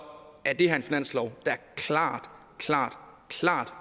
er det her en finanslov der klart klart